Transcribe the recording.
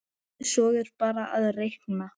Svo er bara að reikna.